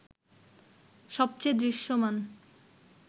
সবচেয়ে দৃশ্যমান